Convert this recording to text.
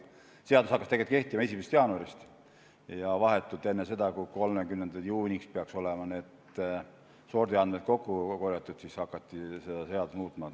Seadus hakkas tegelikult kehtima 1. jaanuarist, ja vahetult enne seda, kui 30. juuniks peaks olema need sordiandmed kokku korjatud, hakati seda seadust muutma.